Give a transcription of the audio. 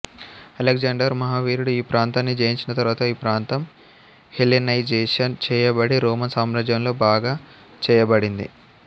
Alexander మాహావీరుడు ఈ ప్రాంతాన్ని జయించిన తరువాత ఈ ప్రాంతం హెలెనైజేషన్ చేయబడి రోమన్ సామ్రాజ్యంలో భాగం చేయబడింది